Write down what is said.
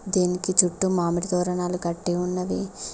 దీనికి చుట్టు మామిడి తోరణాలు కట్టి ఉన్నవి.